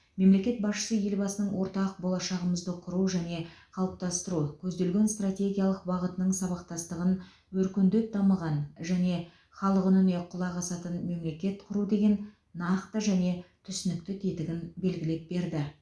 мемлекет басшысы елбасының ортақ болашағымызды құру және қалыптастыру көзделген стратегиялық бағытының сабақтастығын өркендеп дамыған және халық үніне құлақ асатын мемлекет құру деген нақты және түсінікті тетігін белгілеп берді